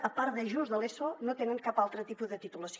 a part de justament l’eso no tenen cap altre tipus de titulació